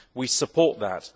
we support that.